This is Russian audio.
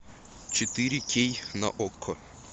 четыре кей на окко